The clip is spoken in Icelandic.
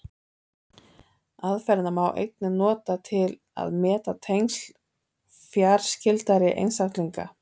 Aðferðina má einnig nota til að meta tengsl fjarskyldari einstaklinga.